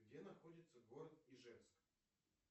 где находится город ижевск